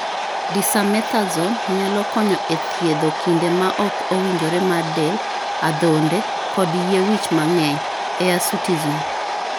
Dexamethasone nyalo konyo e thiedho kinde ma ok owinjore mar del, adhonde, kod yie wich mang'eny (hirsutism).